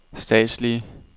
statslige